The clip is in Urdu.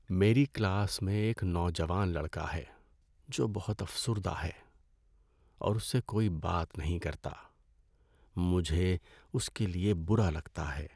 میری کلاس میں ایک نوجوان لڑکا ہے جو بہت افسردہ ہے اور اس سے کوئی بات نہیں کرتا۔ مجھے اس کے لیے برا لگتا ہے۔